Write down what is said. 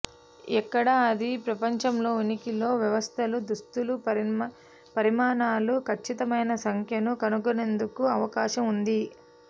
ఎక్కడా అది ప్రపంచంలో ఉనికిలో వ్యవస్థలు దుస్తులు పరిమాణాలు కచ్చితమైన సంఖ్యను కనుగొనేందుకు అవకాశం ఉంది